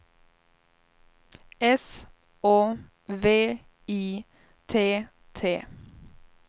S Å V I T T